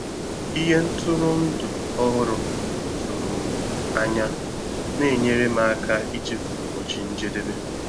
Ìhè ntụrụndụ ọhụrụ tụrụ m ànyà na-enyèrè m aka ichefu ụbọchị njedebe.